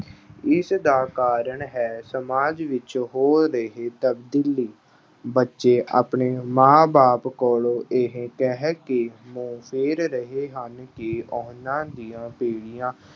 ਇਸ ਦਾ ਕਾਰਨ ਹੈ ਸਮਾਜ ਵਿੱਚ ਹੋ ਰਹੀ ਤਬਦੀਲੀ। ਬੱਚੇ ਆਪਣੇ ਮਾਂ ਬਾਪ ਕੋਲੋਂ ਇਹ ਕਹਿ ਕੇ ਮੂੰਹ ਫੇਰ ਰਹੇ ਹਨ ਕਿ ਉਹਨਾਂ ਦੀਆਂ ਪੀੜ੍ਹੀਆਂ